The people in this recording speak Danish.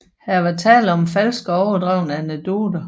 Her var der tale om falske og overdrevne anekdoter